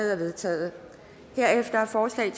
er vedtaget herefter er forslag